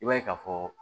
I b'a ye ka fɔ